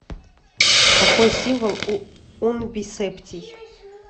какой символ у унбисептий